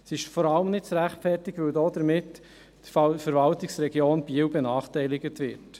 Sie ist vor allem nicht zu rechtfertigen, weil damit die Verwaltungsregion Biel benachteiligt wird.